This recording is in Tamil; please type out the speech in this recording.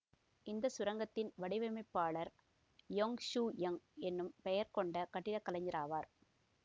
இந்த சுரங்கத்தின் வடிவமைப்பாளர் யொங் ஹு யொங் எனும் பெயர்க்கொண்ட கட்டிடக் கலைஞராவர்